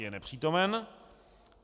Je nepřítomen.